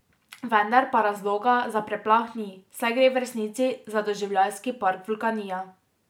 Vendar pa razloga za preplah ni, saj gre v resnici za doživljajski park Vulkanija.